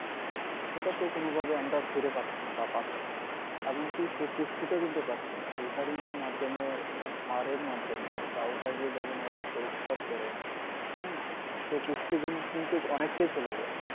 সেটা তো কোনভাবেই আমরা ফিরে পাচ্ছিনা বা পাচ্ছিনা এমনকি সে পুষ্টিটাও কিন্তু পাচ্ছিনা এর মাধ্যমে সারের মাধ্যমে চাউলটাকে যখন ওরা পরিস্কার করে হ্যাঁ সেই পুষ্টিগুণ কিন্তু অনেকটাই চলে যায়